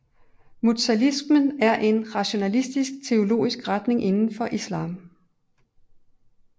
Mutazilismen er en rationalistisk teologisk retning indenfor islam